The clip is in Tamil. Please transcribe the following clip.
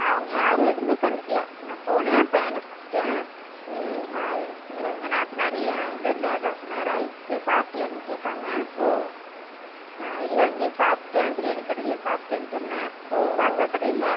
அவுங்க யாருமே எதுவும்மே கண்டுக்கல நா போனா பையன கூப்டான் Noise அஹ் எங்க நாத்தனார் ஏன் இவ்ளோ நேர நேரம் ஆய்ருச்சு சாப்டியான்னு கேட்டாங்க Noise இல்ல அங்கையே சாப்டன் பிரியாணி கடைலயே சாப்டான் சொன்னா தாத்தா கடைல Noise